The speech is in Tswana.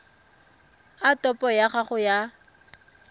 a topo ya gago ya